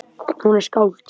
Hún er skáld.